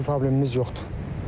Elə bir problemimiz yoxdur.